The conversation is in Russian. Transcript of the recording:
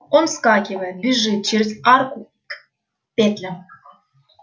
он вскакивает бежит через арку к петлям